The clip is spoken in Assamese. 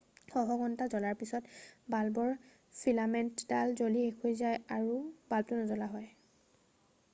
শ শ ঘণ্টা ধৰি জ্বলাৰ পিছত বাল্বৰ ফিলামেণ্টডাল জ্বলি শেষ হৈ যায় আৰু বাল্বটো নজ্বলা হয়